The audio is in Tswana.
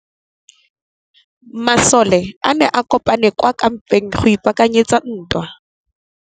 Masole a ne a kopane kwa kampeng go ipaakanyetsa ntwa.